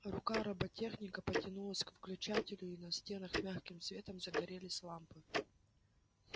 рука роботехника потянулась к включателю и на стенах мягким светом загорелись лампы